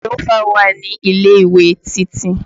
Jagilófà wà ní ilé-ìwé Títí